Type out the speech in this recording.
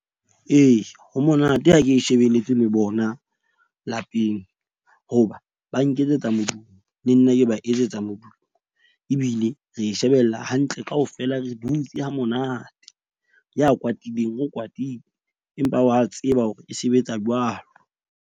Ee, ho monate ha ke shebelletse le bona lapeng hoba ba nketsetsa modumo le nna ke ba etsetsa modumo. Ebile re shebella hantle, kaofela re dutse hamonate ya kwatileng, o kwatile, empa wa tseba hore e sebetsa jwalo.